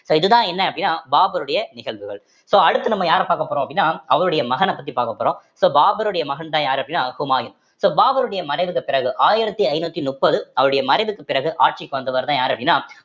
so இது தான் என்ன அப்படின்னா பாபருடைய நிகழ்வுகள் so அடுத்து நம்ம யார பாக்க போறோம் அப்படின்னா அவருடைய மகனை பத்தி பார்க்க போறோம் so பாபருடைய மகன்தான் யாரு அப்படின்னா ஹுமாயூன் so பாபருடைய மறைவுக்கு பிறகு ஆயிரத்தி ஐந்நூத்தி நுப்பது அவருடைய மறைவுக்கு பிறகு ஆட்சிக்கு வந்தவர்தான் யாரு அப்படின்னா